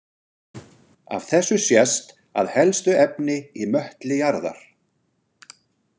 Af þessu sést að helstu efni í möttli jarðar.